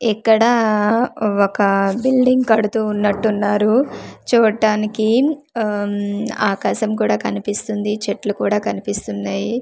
ఇక్కడా ఒక బిల్డింగ్ కడుతూ ఉన్నట్టున్నారు చూట్టానికి ఆ ఆకాశం కూడా కనిపిస్తుంది చెట్లు కూడా కనిపిస్తున్నాయి.